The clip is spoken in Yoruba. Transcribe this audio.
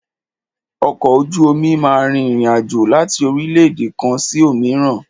Ọkọ̀ ojú omi máà rìn ìrin àjò láti orílẹ̀-èdè kan sí òmíràn.